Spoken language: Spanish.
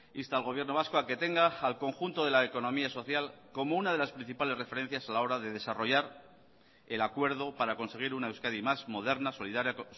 insta al gobierno vasco a que tenga al conjunto de la economía social como una de las principales referencias a la hora de desarrollar el acuerdo para conseguir una euskadi más moderna solidaria